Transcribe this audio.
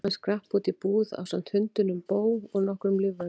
Hann skrapp út í búð ásamt hundinum Bo og nokkrum lífvörðum.